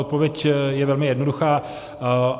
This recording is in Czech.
Odpověď je velmi jednoduchá.